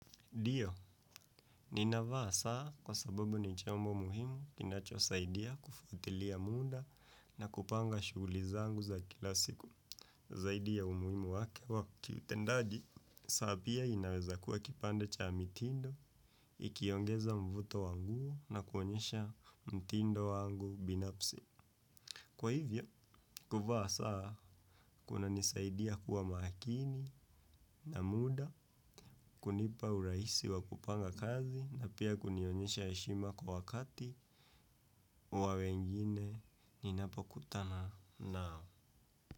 Ndio, ninavaa saa kwa sababu ni chombo muhimu kinachosaidia kufuatilia muda na kupanga shuguli zangu za kila siku. Zaidi ya umuhimu wake wa kiutendaji, saa pia inaweza kuwa kipande cha mitindo, ikiongeza mvuto wa nguvu na kuonyesha mtindo wangu binafsi. Kwa hivyo kuvaa saa kunanisaidia kua makini na muda kunipa urahisi wa kupanga kazi na pia kunionyesha heshima kwa wakati wa wengine ninapokutana nao.